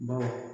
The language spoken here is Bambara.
Baw